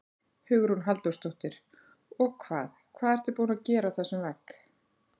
Hugrún Halldórsdóttir: Og hvað, hvað ertu búin að gera á þessum vegg?